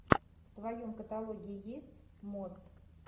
в твоем каталоге есть мост